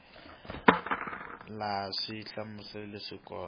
laha swi hlamuseriweke hi kona